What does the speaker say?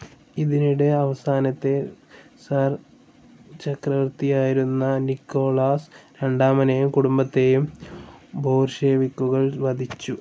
ഇതിനിടെ അവസാനത്തെ സിർ ചക്രവർത്തിയായിരുന്ന നിക്കോളാസ് രണ്ടാമനേയും കുടുംബത്തേയും ബോൾഷെവിക്കുകൾ വധിച്ചു.